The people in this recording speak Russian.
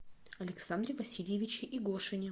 александре васильевиче игошине